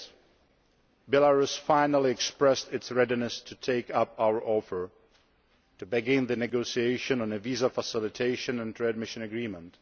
6. Belarus finally expressed its readiness to take up our offer to begin negotiations on a Visa Facilitation and Readmission Agreement.